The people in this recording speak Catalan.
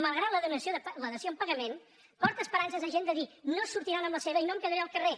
malgrat la dació en pagament porta esperances a gent de dir no se sortiran amb la seva i no em quedaré al carrer